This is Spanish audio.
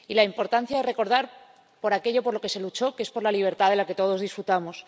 Y la importancia de recordar aquello por lo que se luchó, que es por la libertad de la que todos disfrutamos.